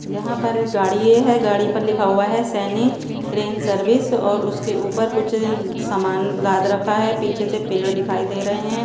यहाँ पर गाड़ीये हैं गाड़ी पर लिखा हुआ हैं सैनी ग्रेन सर्विस और उसके ऊपर कुछ सामान लाद रखा हैं पीछे से पेड़ दिखाई दे रहे हैं।